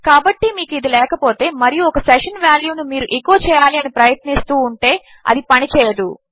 కాబట్టి మీకు ఇది లేకపోతే మరియు ఒక సెషన్ వాల్యూ ను మీరు ఎకో చేయాలి అని ప్రయత్నిస్తూ ఉంటే అది పని చేయదు